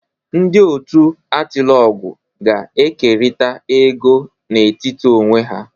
Ndị otu Atilogwu ga-ekerịta ego n'etiti onwe ha